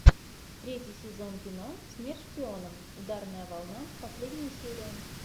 третий сезон кино смерть шпионам ударная волна последняя серия